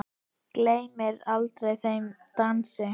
Gleymi aldrei þeim dansi.